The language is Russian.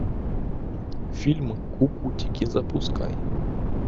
фильм кукутики запускай